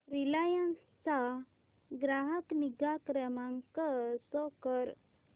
Reliance चा ग्राहक निगा क्रमांक शो कर